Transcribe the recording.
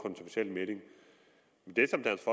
melding det